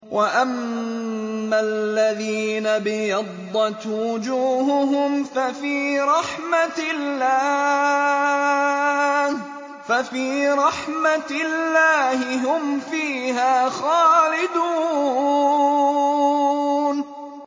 وَأَمَّا الَّذِينَ ابْيَضَّتْ وُجُوهُهُمْ فَفِي رَحْمَةِ اللَّهِ هُمْ فِيهَا خَالِدُونَ